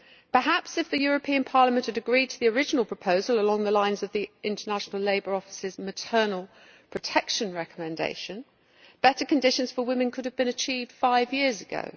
Perhaps if the European Parliament had agreed to the original proposal along the lines of the International Labour Office's maternal protection recommendation, better conditions for women could have been achieved five years ago.